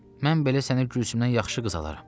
Mən belə sənə Gülsümdən yaxşı qız alaram.